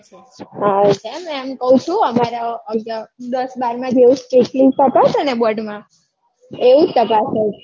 એમ કૌ છુ અમારે અહિયાં દસ બાર ના જેવું strictly તપાસે ને board માં એવું જ તપાસે છે